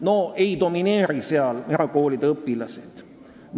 No ei domineeri seal erakoolide õpilased!